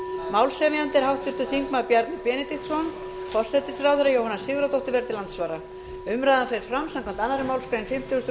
málshefjandi er háttvirtur þingmaður bjarni benediktsson og forsætisráðherra jóhanna sigurðardóttir verður til andsvara umræðan fer fram samkvæmt annarri málsgrein fimmtugustu